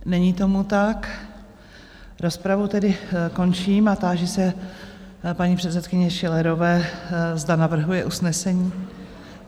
Není tomu tak, rozpravu tedy končím a táži se paní předsedkyně Schillerové, zda navrhuje usnesení?